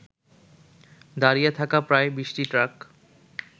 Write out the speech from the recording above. দাঁড়িয়ে থাকা প্রায় ২০টি ট্রাক